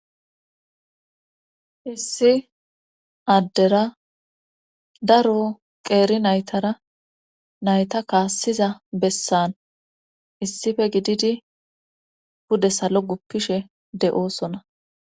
Issi addera daro qeeri naytara nayta kaassiza bessan issife gididi bude salo guppishe de'oosona.